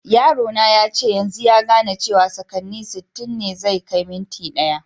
Yaro na yace yanzun ya gane cewa sakanni sitin ne kai yin minti daya.